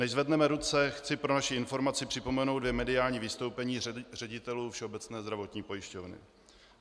Než zvedneme ruce, chci pro vaši informaci připomenout dvě mediální vystoupení ředitelů Všeobecné zdravotní pojišťovny.